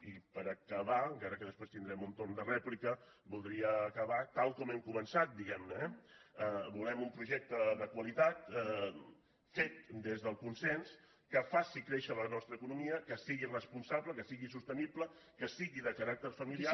i per acabar encara que després tindrem un torn de rèplica voldria acabar tal com hem començat diguem ne eh volem un projecte de qualitat fet des del consens que faci créixer la nostra economia que sigui responsable que sigui sostenible que sigui de caràcter familiar